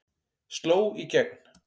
Sló í gegn